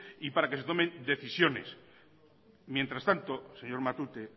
y para que se tomen decisiones mientras tanto señor matute